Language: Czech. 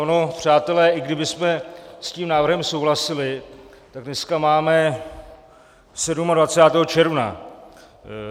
Ono, přátelé, i kdybychom s tím návrhem souhlasili, tak dneska máme 27. června.